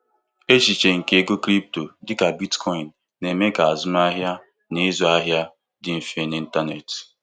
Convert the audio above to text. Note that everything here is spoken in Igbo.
Echiche nke ego crypto dịka Bitcoin na-eme ka azụmahịa na ịzụ ahịa dị mfe n'ịntanetị.